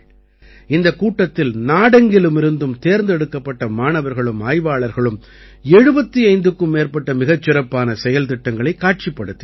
இந்தக் கூட்டத்தில் நாடெங்கிலுமிருந்தும் தேர்ந்தெடுக்கப்பட்ட மாணவர்களும் ஆய்வாளர்களும் 75க்கும் மேற்பட்ட மிகச் சிறப்பான செயல்திட்டங்களைக் காட்சிப்படுத்தினார்கள்